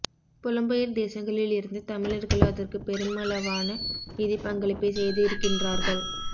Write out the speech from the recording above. புலம்பெயர் தேசங்களில் இருந்து தமிழர்கள் அதற்குப் பெருமளவான நிதிப் பங்களிப்பைச் செய்திருக்கின்றார்கள்